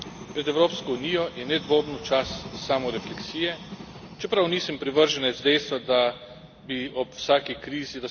Pred Evropsko unijo je nedvomno čas samorefleksije, čeprav nisem privrženec dejstva, da bi ob vsaki krizi...